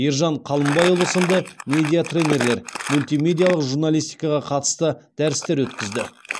ержан қалымбайұлы сынды медиа тренерлер мультимедиалық журналистикаға қатысты дәрістер өткізді